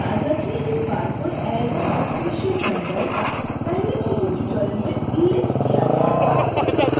याद रखें इस barcode as accession number का पहले किसी tutorials में उल्लेख किया गया था